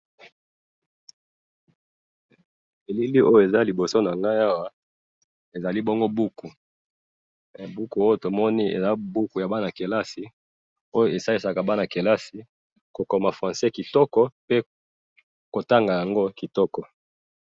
Na moni buku ya bana kelasi, esalisaka bango ko koma francais kitoko.